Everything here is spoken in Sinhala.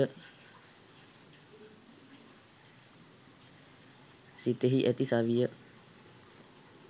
සිතෙහි ඇති සවිය